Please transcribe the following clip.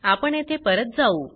आपण येथे परत जाऊ